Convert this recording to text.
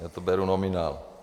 Já to beru nominál.